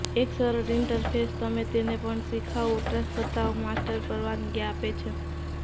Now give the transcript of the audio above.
એક સરળ ઈન્ટરફેસ તમે તેને પણ શિખાઉ વપરાશકર્તાઓ માસ્ટર પરવાનગી આપે છે